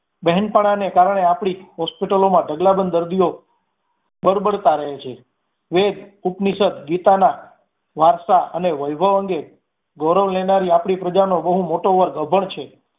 બેહેનપણાને કારણે આપડી hospital લો મા ઢગલાબંધ દર્દીઓ બડબડતા રહે છે. વેદ ઉપનિષદ ગીતામાં વાર્તા અને વૈભવ અંગે ગૌરવ લેનારી આપણી પ્રજા નો બહુ મોટો વર્ગ અભણ છે